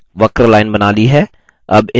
आपने एक वक्र line बना ली है